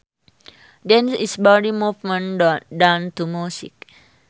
Dance is body movement done to music